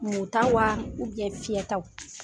Mu ta wa fiyɛtaw?